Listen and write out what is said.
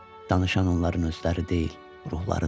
Danışan onların özləri deyil, ruhlarıdır.